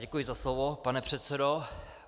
Děkuji za slovo, pane předsedo.